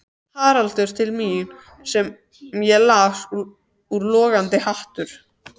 Haraldur til mín augum sem ég las úr logandi hatur.